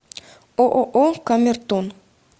ооо камертон